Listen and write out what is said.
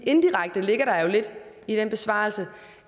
indirekte ligger der jo lidt i den besvarelse